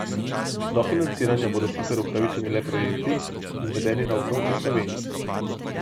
Do financiranja bodo sicer upravičeni le projekti, izvedeni na območju Slovenije.